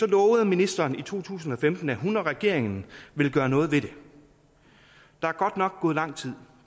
lovede ministeren i to tusind og femten at hun og regeringen ville gøre noget ved det der er godt nok gået lang tid